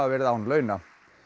verið án launa